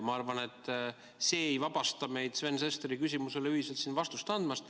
Ma arvan, et see ei vabasta meid Sven Sesteri küsimusele ühiselt siin vastust andmast.